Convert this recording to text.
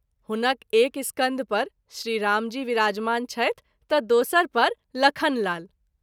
हुनक एक स्कंध पर श्री रामजी विराजमान छथि त’ दोसर पर लखन लाल।